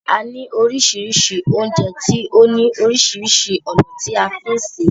A ní oríṣiríṣi oúnjẹ tí ó ní oríṣiríṣi ònà tí a ní fí sè é.